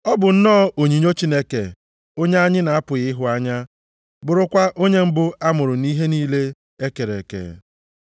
Ọ bụ nnọọ onyinyo Chineke onye anyị na-apụghị ịhụ anya, bụrụkwa onye mbụ a mụrụ nʼihe niile e kere eke.